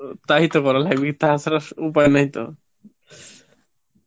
তাই তো করা লাগবে, টা ছাড়া উপায় নাই তো